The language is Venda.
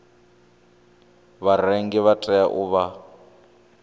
vharengi vha tea u vha